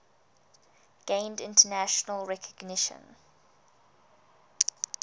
gained international recognition